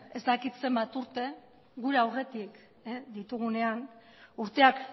ez dakit zenbat urte gure aurretik ditugunean urteak